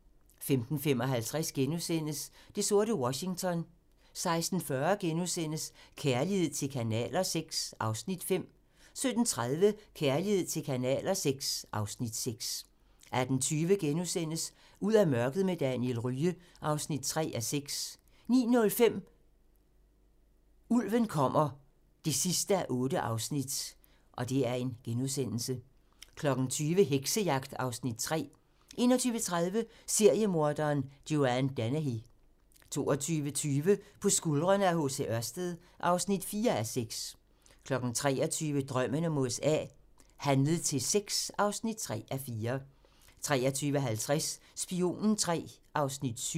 15:55: Det sorte Washington * 16:40: Kærlighed til kanaler VI (Afs. 5)* 17:30: Kærlighed til kanaler VI (Afs. 6) 18:20: Ud af mørket med Daniel Rye (3:6)* 19:05: Ulven kommer (8:8) 20:00: Heksejagt (Afs. 3) 21:30: Seriemorderen Joanne Dennehy 22:20: På skuldrene af H. C. Ørsted (4:6) 23:00: Drømmen om USA: Handlet til sex (3:4) 23:50: Spionen III (7:8)